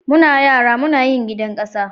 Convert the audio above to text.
Muna yara Muna yin gidan kasa.